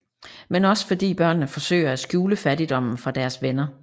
Men også fordi børnene forsøger at skjule fattigdommen fra deres venner